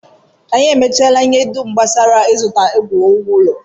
Anyị emechaala ihe dum gbasara ịzụta ngwa iwu ụlọ